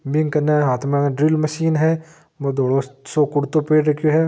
बिकने हाथ में ड्रिल मशीन है बो धोलो सो कुर्तो पेहर रख्यो है ।